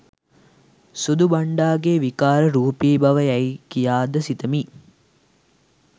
සුදු බන්ඩාගේ විකාර රූපීබව යැයි කියාද සිතමි.